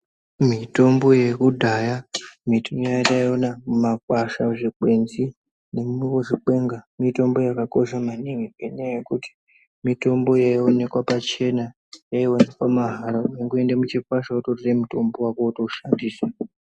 Mitombo yekudhaya mitombo yataiona mumakwasha, muzvikenzi nemuzvikwenga. Mitombo yakakosha maningi ngenyaya yekuti mitombo yaionekwa pachena yaionekwa mahala. Waingoenda muchikwasha vototore mutombo vako wotoshandisa.